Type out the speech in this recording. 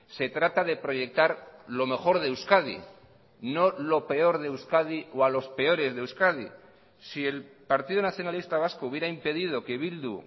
se trata de proyectar lo mejor de euskadi no lo peor de euskadi o a los peores de euskadi si el partido nacionalista vasco hubiera impedido que bildu